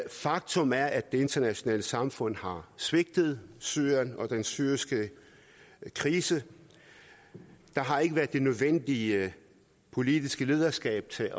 faktum er at det internationale samfund har svigtet syrien og den syriske krise der har ikke været det nødvendige politiske lederskab til